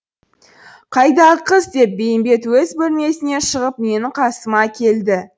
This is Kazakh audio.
қайдағы қыз деп бейімбет өз бөлмесінен шығып менің қасыма келді